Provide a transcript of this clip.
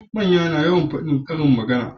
Manya na yawan fadin karin magana